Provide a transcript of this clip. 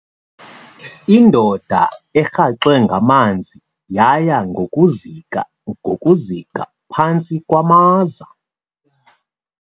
Indoda erhaxwe ngamanzi yaya ngokuzika ngokuzika phantsi kwamaza.